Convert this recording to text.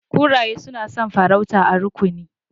Kuraye suna son farauta a rukuni.